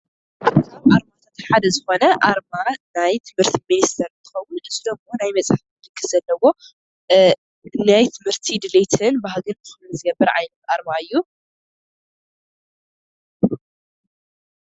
ሓደ ዝኾነ ኣርማ ናይ ትምህርቲ ምኒስተር እንትከውን እዚ ደሞ ናይ መፅሓፈ መፅሓፍ ምልክት ዘለዎ ናይ ትምህቲ ድሌትን ባህግን ዝገብር ዓይነት ኣርማ እዩ።